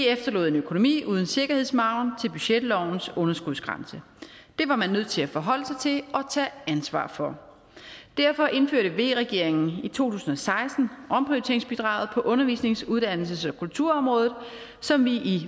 efterlod en økonomi uden en sikkerhedsmargen til budgetlovens underskudsgrænse det var man nødt til at forholde sig til og tage ansvar for derfor indførte v regeringen i to tusind og seksten omprioriteringsbidraget på undervisnings uddannelses og kulturområdet som vi